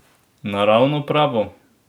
Naravno pravo?